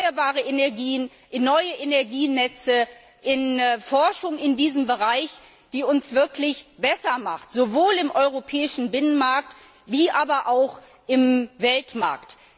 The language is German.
in erneuerbare Energien, in neue Energienetze, in Forschung in diesem Bereich, die uns wirklich besser macht, sowohl im europäischen Binnenmarkt wie auch im Weltmarkt.